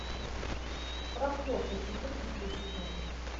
прохвосты четырнадцатый сезон